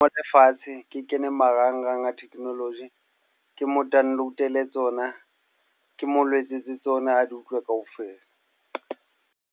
Ho fatshe, ke kene marangrang a technology. Ke mo download-ele tsona. Ke mo letsetse tsona a di utlwe kaofela.